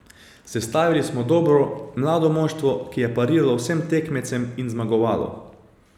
Sestavili smo dobro, mlado moštvo, ki je pariralo vsem tekmecem in zmagovalo.